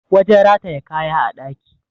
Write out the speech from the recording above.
wajen rataye kaya a ɗaki